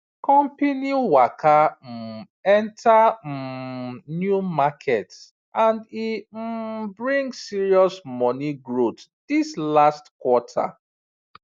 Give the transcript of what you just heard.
company waka um enter um new market and e um bring serious money growth this last quarter